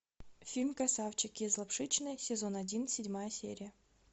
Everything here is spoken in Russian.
фильм красавчики из лапшичной сезон один седьмая серия